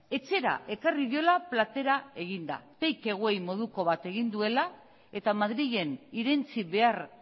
etxera ekarri diola platera eginda take away moduko bat egin duela eta madrilen irentsi behar